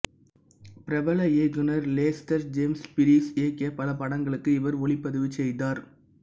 பிரபல இயக்குநர் லெஸ்டர் ஜேம்ஸ் பீரிஸ் இயக்கிய பல படங்களுக்கு இவர் ஒளிப்பதிவு செய்தார்